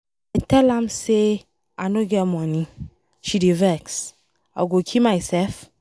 I tell am say I no get money, she dey vex. I go kill myself?